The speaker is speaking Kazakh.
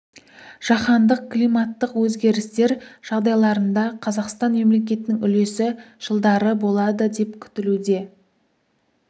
жаһандық климаттық өзгерістер жағдайларында қазақстан мемлекетінің үлесі жылдары болады деп күтілуде